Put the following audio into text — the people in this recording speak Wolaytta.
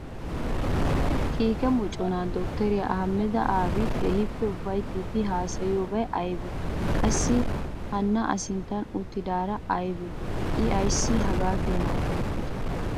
Kiike moccona Dottoriya Ahhamada Aabi, keehippe ufayttidi haassayiyobay aybbe ? Qassi hana a sinttan uttidaarakka aybbe? I ayssi hagaa keena ufayttide?